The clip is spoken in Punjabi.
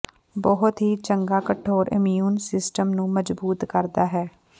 ਬਹੁਤ ਹੀ ਚੰਗਾ ਕਠੋਰ ਇਮਿਊਨ ਸਿਸਟਮ ਨੂੰ ਮਜ਼ਬੂਤ ਕਰਦਾ ਹੈ